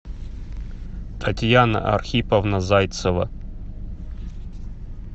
татьяна архиповна зайцева